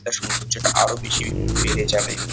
এটার সৌন্দর্যটা আরও বেশি একটু বেড়ে যাবে।